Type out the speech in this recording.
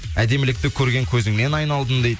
әдемілікті көрген көзіңнен айналдым дейді